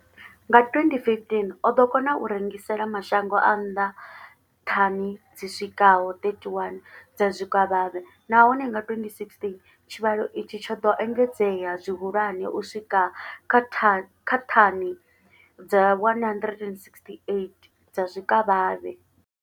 Nga 2015, o ḓo kona u rengisela mashango a nnḓa thani dzi swikaho 31 dza zwikavhavhe, nahone nga 2016 tshivhalo itshi tsho ḓo engedzea zwihulwane u swika kha thani kha thani dza 168 dza zwikavhavhe.